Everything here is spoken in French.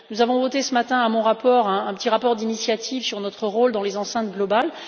Nous avons voté ce matin mon rapport, un petit rapport d'initiative sur notre rôle dans les enceintes globales.